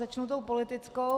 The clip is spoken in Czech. Začnu tou politickou.